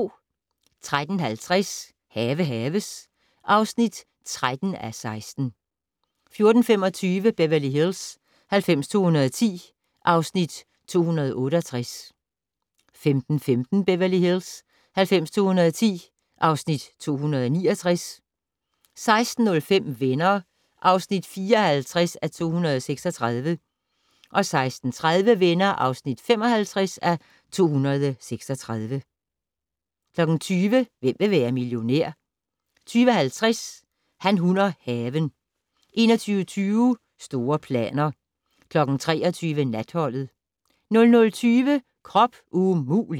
13:50: Have haves (13:16) 14:25: Beverly Hills 90210 (Afs. 268) 15:15: Beverly Hills 90210 (Afs. 269) 16:05: Venner (54:236) 16:30: Venner (55:236) 20:00: Hvem vil være millionær? 20:50: Han, hun og haven 21:20: Store planer 23:00: Natholdet 00:20: Krop umulig!